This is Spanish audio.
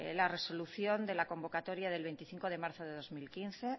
la resolución de la convocatoria del veinticinco de marzo del dos mil quince